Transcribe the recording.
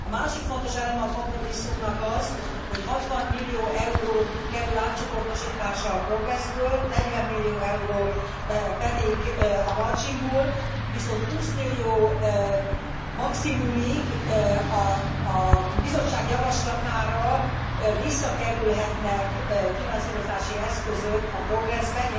A másik fontos eleme a kompromisszumnak az, hogy 60 millió euró kerül átcsoportosításra a PROGRESS ből, 40 millió euró pedig a marginból, viszont 20 millió maximumig a Bizottság javaslatára visszakerülhetnek finanszírozási eszközök a PROGRESS be.